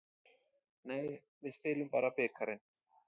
Nei, við spilum bara bikarinn.